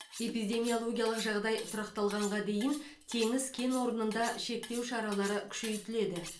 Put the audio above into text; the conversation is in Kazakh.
эпидемиологиялық жағдай тұрақталғанға дейін теңіз кен орнында шектеу шаралары күшейтіледі